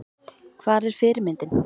Hvar er fyrirmyndin?